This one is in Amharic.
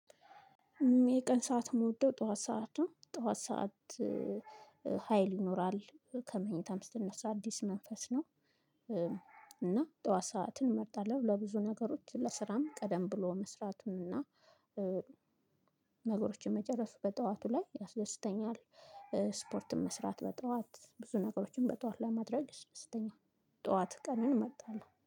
የቀን ሰዓት የምወደው ጠዋት ሰዓት ነው ጠዋት ሰዓት ሀይል ይኖራል ከመኝታም ስትነሳ አዲስ መንፈስ ነው። እና ጠዋት ሰዓትን እመርጣለሁ ለብዙ ነገሮች ለስራም ቀደም ብሎ መስራቱን እና ነገሮችን መጨረሱ በጠዋቱ ላይ ያስደስተኛል። ስፖርትም መስራት በጠዋት ብዙ ነገሮችን በጠዋት ለማድረግ ያስደስተኛል ጠዋት ቀኑን እመጣለሁ